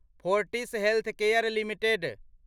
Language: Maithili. Fortis healthcare limited